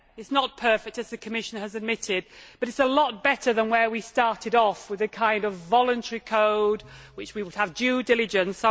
It is not perfect, as the Commissioner has admitted, but it is a lot better than where we started off with a kind of voluntary code with which we would have due diligence.